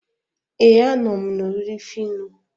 ee, a nọ m na oriri phyno.